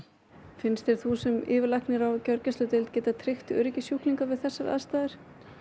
finnst þér þú sem yfirlæknir á gjörgæsludeild geta tryggt öryggi sjúklinga við þessar aðstæður